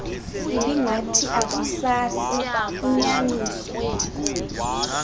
ibingathi akusasi inyaniso